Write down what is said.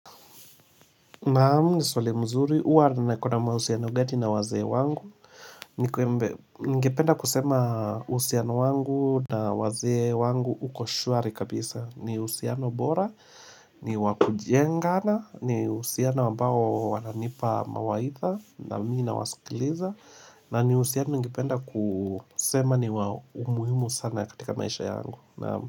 Naam, ni swali zuri, huwa niko na mahusiano gani na wazee wangu?.Ningependa kusema uhusiano wangu na wazee wangu uko shwari kabisa ni uhusiano bora, ni wakujengana, ni uhusiano ambao wananipa mawaidha na mimi nawasikiliza na ni uhusiano ningependa kusema ni wa muhimu sana katika maisha yangu Naam.